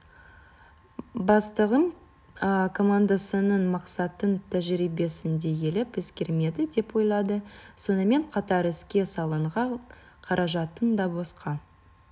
бастығым командасының мақсатын тәжірибесін де елеп-ескермеді деп ойлады сонымен қатар іске салынған қаражаттың да босқа